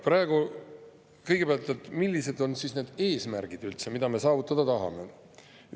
Kõigepealt, millised on üldse need eesmärgid, mida me saavutada tahame?